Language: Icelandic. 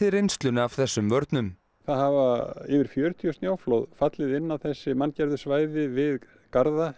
reynsluna af þessum vörnum það hafa yfir fjörutíu snjóflóð fallið inn á þessi manngerðu svæði við garða